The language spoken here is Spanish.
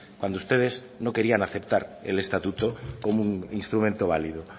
cuando ustedes no querían aceptar el estatuto como un instrumento válido